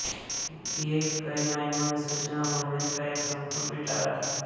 ये कई मायनों में सूचना और मनोरंजन का एक संपूर्ण पिटारा था